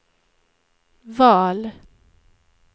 val